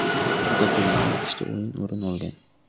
Kun taqvimidan uchta o‘yin o‘rin olgan.